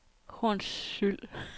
Hornsyld